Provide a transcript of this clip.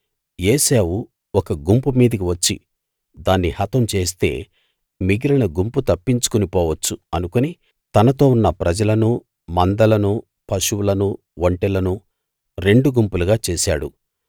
ఏశావు ఒక గుంపు మీదికి వచ్చి దాన్ని హతం చేస్తే మిగిలిన గుంపు తప్పించుకుని పోవచ్చు అనుకుని తనతో ఉన్న ప్రజలనూ మందలనూ పశువులనూ ఒంటెలనూ రెండు గుంపులు చేశాడు